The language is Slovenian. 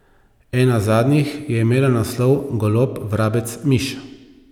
Ena zadnjih je imela naslov Golob, vrabec, miš...